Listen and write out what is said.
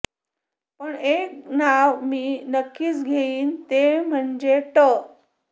पण एक नाव मी नक्कीच घेईन ते म्हणजे ट